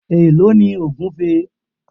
Èló ni ògúfe?